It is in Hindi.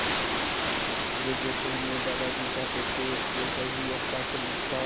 यह जैसा मेरे दादाजी चाहते थे वैसा ही हस्ताक्षरयुक्त था